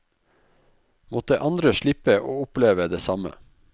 Måtte andre slippe å oppleve det samme.